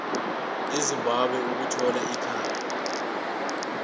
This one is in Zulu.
ezimbabwe ukuthola ikhambi